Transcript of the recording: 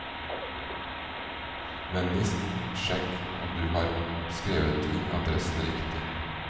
Vennligst sjekk om du har skrevet inn adressen riktig.